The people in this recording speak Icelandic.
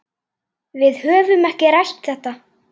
Við höfum ekki rætt þetta.